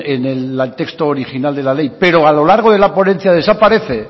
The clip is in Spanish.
en el texto original de la ley pero a lo largo de la ponencia desaparece